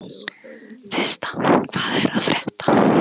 Systa, hvað er að frétta?